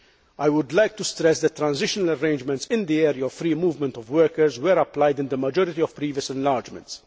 I would like to stress that transitional arrangements in the area of free movement of workers were applied in the majority of previous enlargements.